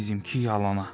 Bizimki yalana.